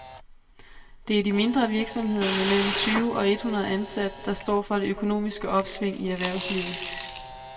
Det er de mindre virksomheder med mellem tyve og et hundrede ansatte, der står for det økonomiske opsving i erhvervslivet.